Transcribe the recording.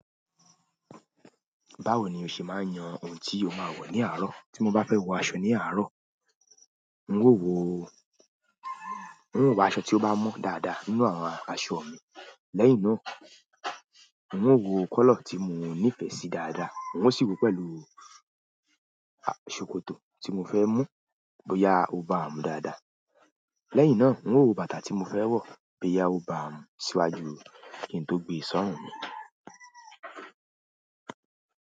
Báwo ni o ṣe máa ń yan ohun tí o máa wọ̀ ní àárọ̀? Tí mo bá fẹ́ wọ aṣọ ní àárọ̀, n ó wọ, n ó wa aṣọ tí ó bá mọ́ dáadáa nínú àwọn aṣọ mi. Lẹ́yìn náà, n ó wo kọ́lọ̀ tí mo nífẹ̀ẹ́ sí dáadáa, n ó sì wò ó pẹ̀lú a, ṣòkòtò tí mo fẹ́ mú bóyá ó bá a mu dáadáa. Lẹ́yìn náà, n ó wo bàtà tí mo fẹ́ wọ̀ bóyá ó bá a mu síwájú kí n tó gbé sorun mi.